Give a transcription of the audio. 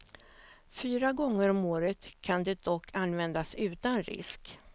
Fyra gånger om året kan det dock användas utan risk.